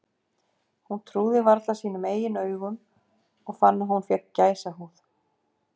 Hún trúði varla sínum eigin augum og fann að hún fékk gæsahúð.